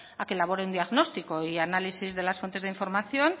a que elaboren un diagnóstico y análisis de las fuentes de información